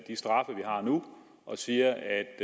straffe vi har nu og siger at